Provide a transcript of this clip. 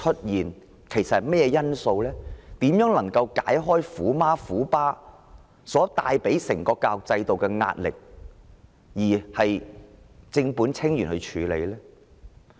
如何能夠解開他們帶給教育制度的壓力，以正本清源的方式處理？